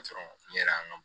n yɛrɛ y'an